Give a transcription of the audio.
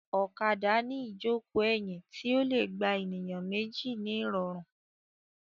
Ọ̀kadà ní ìjókòó ẹ̀yìn tí ó le gba ènìyàn méjì ní ìrọ̀rùn.